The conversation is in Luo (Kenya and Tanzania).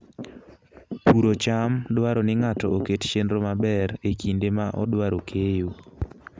Puro cham dwaro ni ng'ato oket chenro maber e kinde ma odwaro keyo.